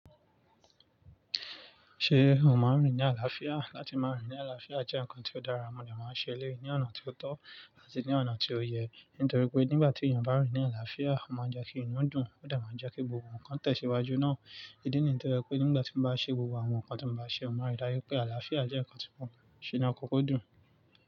Ṣé o máa ń rìn ní àlàáfíà? Láti máa rìn ní àlàáfíà jẹ́ ǹkan tí ó dára, mo de n máa ṣe eleyi ní ọ̀nà tí ó tọ́ àti ní ọ̀nà tí ó yẹ. Nítorí pé nígbà tí èèyàn bá rìn ní àlàáfíà, ó máa ń jẹ́ kí inú dùn, ó de máa ń jẹ́ kí gbogbo ǹkan tẹ̀síwájú náà. Í di nii to je pé nígbà tí mo bá ṣe gbogbo àwọn nǹkan tí mo bá ṣe, mo máa rí dáju pé àlàáfíà jẹ́ ǹkan tí mò ń ṣe ni ọkọkọ dún.